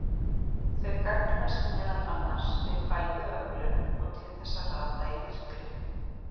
Þau gagnast meðal annars við fæðuöflun og til þess að rata í myrkri.